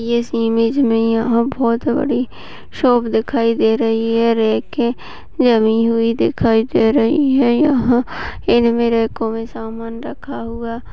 इस इमेज मे यहाँ बहुत बड़ी शॉप दिखाई दे रही है और रैक है जमी हुई देखाई दे रही है यहाँ इनमे रैको में सामान रखा हुआ।